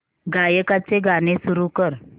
गायकाचे गाणे सुरू कर